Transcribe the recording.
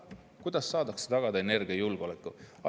Kuidas saab tagada energiajulgeolekut?